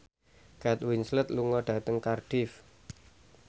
Kate Winslet lunga dhateng Cardiff